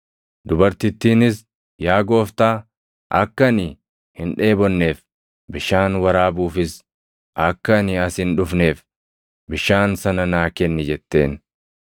Dubartittiinis, “Yaa Gooftaa, akka ani hin dheebonneef, bishaan waraabuufis akka ani as hin dhufneef bishaan sana naa kenni” jetteen.